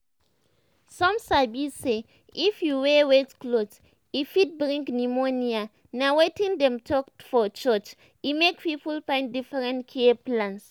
some sabi say if you wear wet cloth e fit bring pneumonia na wetin dem talk for church e make people find different care plans.